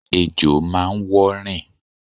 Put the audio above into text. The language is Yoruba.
Ejò máa ń wọ́ rìn.